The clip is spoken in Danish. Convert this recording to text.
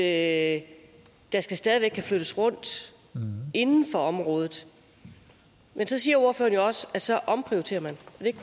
at der stadig væk skal kunne flyttes rundt inden for området men så siger ordføreren jo også at så omprioriterer man